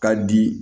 Ka di